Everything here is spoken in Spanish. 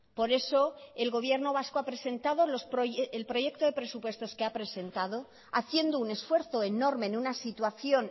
por eso el gobierno vasco ha presentado el proyecto de presupuestos que ha presentado haciendo un esfuerzo enorme en una situación